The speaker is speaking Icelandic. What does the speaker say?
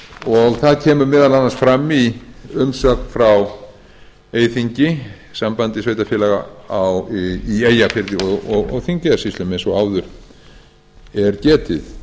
og það kemur meðal annars fram í umsögn frá eyþingi sambandi sveitarfélaga í eyjafirði og þingeyjarsýslum eins og áður er getið